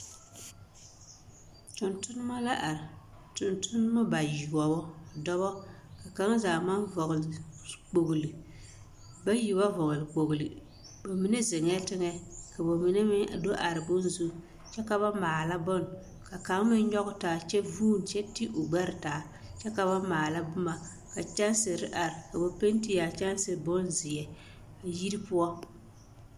Tontonma la are tontonma bayoɔbo dɔba ka kaŋa zaa maŋ vɔgle kpogli bayi ba vɔgle kpogli ba mine zeŋɛɛ teŋɛ ka ba mine meŋ do are bonne zu kyɛ ka ba maala bonne kaŋ meŋ nyɔge taa kyɛ vuune kyɛ ti o gbɛre taa kyɛ ka ba maala boma ka kyɛnsiri are ka ba penti a kyɛnsi bonzeɛ yiri poɔ.